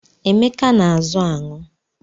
Emeka na-azụ aṅụ